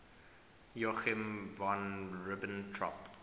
joachim von ribbentrop